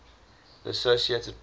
the associated press